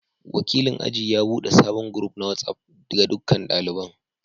Wakilin aji ya bude sabon group na WhatsApp ga dukkan daliban.